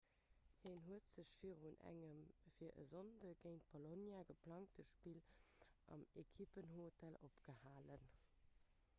hien huet sech virun engem fir e sonndeg géint bolonia geplangte spill am ekipphotel opgehalen